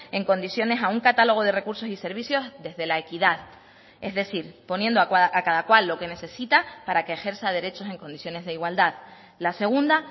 en condiciones a un catálogo de recursos y servicios desde la equidad es decir poniendo a cada cual lo que necesita para que ejerza derechos en condiciones de igualdad la segunda